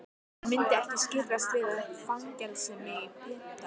Hann myndi ekki skirrast við að fangelsa mig og pynta.